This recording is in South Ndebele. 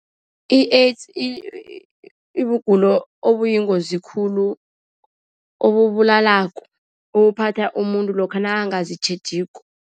I-AIDS ibugulo obuyingozi khulu, obubulalako, obuphatha umuntu lokha nakangazitjhejiko.